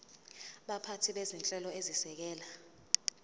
baphathi bezinhlelo ezisekela